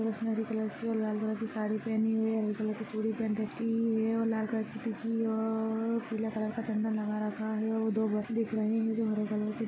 उसने हरी कलर और लाल कलर की साड़ी पहनी हुई है हरी कलर चूड़ी पहन रखी है और लाल कलर की और पीला कलर का चन्दन लगा रखा है और दो बस दिख रहे है जो हरे कलर के--